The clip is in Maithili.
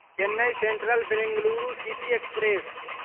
Chennai central Bengaluru city express